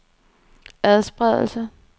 adspredelse